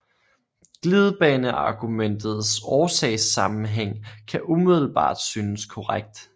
Glidebaneargumentets årsagssamenhæng kan umiddelbart synes korrekt